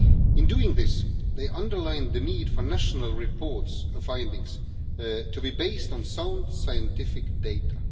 In doing this, they underlined the need for national findings to be based on sound scientific data.